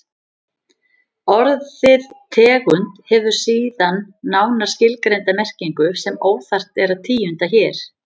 Orðið tegund hefur síðan nánar skilgreinda merkingu sem óþarft er að tíunda hér.